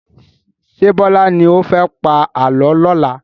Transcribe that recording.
Ṣé Bọlá ni ó fẹ́ pa àálọ́ lọ́la?